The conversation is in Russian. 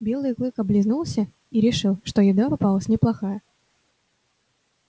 белый клык облизнулся и решил что еда попалась неплохая